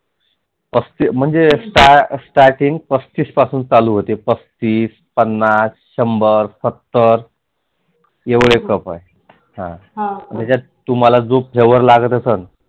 असते म्हणजे Starting पस्तीस पासुन चालु होते पस्तीस, पण्णास, शंभर एवढे